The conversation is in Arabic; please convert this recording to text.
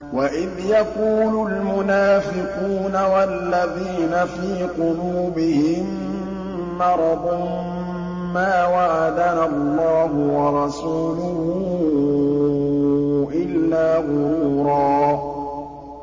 وَإِذْ يَقُولُ الْمُنَافِقُونَ وَالَّذِينَ فِي قُلُوبِهِم مَّرَضٌ مَّا وَعَدَنَا اللَّهُ وَرَسُولُهُ إِلَّا غُرُورًا